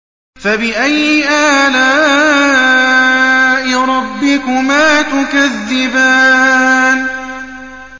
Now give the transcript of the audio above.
فَبِأَيِّ آلَاءِ رَبِّكُمَا تُكَذِّبَانِ